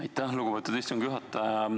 Aitäh, lugupeetud istungi juhataja!